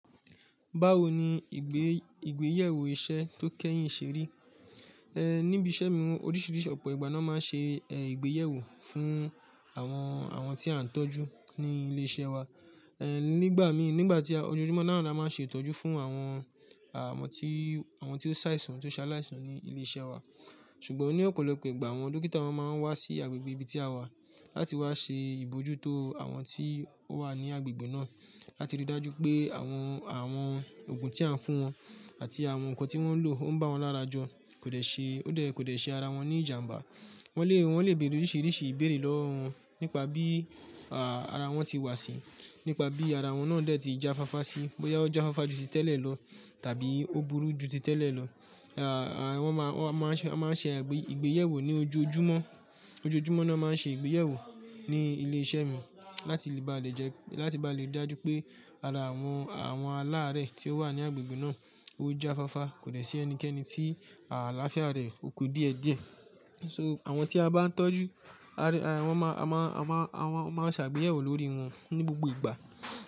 Báwo ni ìgbé ìgbéyẹ̀wò iṣẹ́ tó kẹ́yìn ṣe rí? Ehn, níbi iṣẹ́ mi oríṣìíríṣìí ọ̀pọ̀ ìgbà ni a máa ń ṣe ehn ìgbéyẹ̀wò fún àwọn àwọn tí a ń tọ́jú ní ilé iṣẹ́ wa. Ehn nígbà mi nígbà tí ọjọjúmọ́ náà ni a máa ń ṣe ìtọ́jú fún àwọn àwọn tí àwọn tí ó ṣàìsàn, tí ó ṣaláìsàn ní ilé iṣẹ́ wa. Ṣùgbọ́n ní ọ̀pọ̀lọpọ̀ ìgbà àwọn dókítà wa máa ń wá sí agbègbè ibi tí a wà láti wá ṣe ìbójútó àwọn tí ó wà ní agbègbè náà láti ri dájú pé àwọn àwọn òògùn tí à ń fún wọn àti àwọn nǹkan tí wọ́n ń lò o n bá wọn lára jọ kò de ṣe o dè ṣe ara wọn ní ìjàǹbá. Wọ́n lè wọ́n lè bèèrè oríṣìíríṣìí ìbéèrè lọ́wọ́ wọn nípa bí a ara wọn tí wá sí, nípa bí ara wọn náà dè tí jáfáfá sí, bóyá ó jáfáfá ju ti tẹ́lẹ̀ lọ tàbí ó burú ju ti tẹ́lẹ̀ lọ. A wọ́n máa wọ́n máa ń ṣe wọ́n máa ń ṣe ìgbé ìgbéyẹ̀wò ní ojoojúmọ́ ojoojúmọ́ náà máa ń ṣe ìgbéyẹ̀wò ní ilé iṣẹ́ mi láti ba lè jẹ́ láti ba lè dájú pé ara àwọn àwọn aláàárẹ̀ tí ó wà ní agbègbè náà ó jáfáfá, kò de sì ẹnikẹ́ni tí àlàáfíà rẹ̀ ò kú díẹ̀díẹ̀. So àwọn tí a bá ń tọ́jú á rẹ wọ́n máa a máa a máa àwọn máa ń ṣàgbéyẹ̀wò lórí wọn ní gbogbo ìgbà.